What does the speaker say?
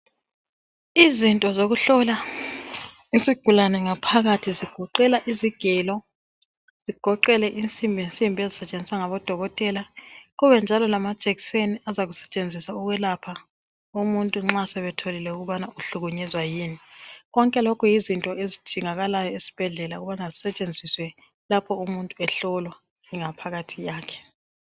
Izinto zokuhlola isigulane ngaphakathi zigoqela izigelo. Zigoqele insimbinsimbi, ezisetshenziswa ngabodokotela. Kube njalo lamajekiseni azakusetshenziswa ukwelapha umuntu nxa sebetholile ukubana uhlukunyezwa yini. Konke lokhu yizinto ezidingakala esibhedlela, lapho umuntu ehlolwa ingaphakathi yakhe,